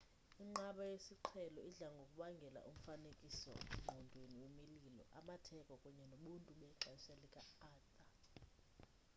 inqaba yesiqhelo idla ngokubangela umfanekiso ngqondweni wemilo amatheko kunye nobuntu bexesha lika-arthur